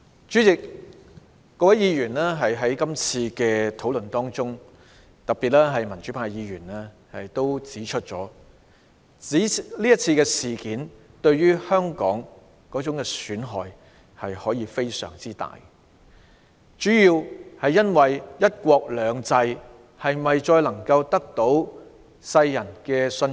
在這次辯論中，多位議員都指出這次事件對香港的損害可以非常大，主要原因是它令人質疑"一國兩制"能否繼續獲得世人的信任。